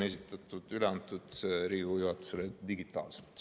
Eelnõu on üle antud Riigikogu juhatusele digitaalselt.